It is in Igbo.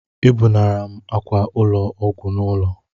Ebunara m ákwà ụlọ ọgwụ n'ụlọ